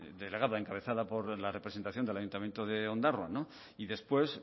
de delegada encabezada por la representación del ayuntamiento de ondarroa no y después